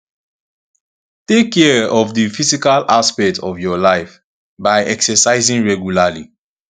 take care of di physical aspect of your life by exercising regularly